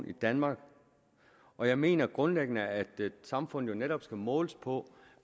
i danmark og jeg mener grundlæggende at et samfund netop skal måles på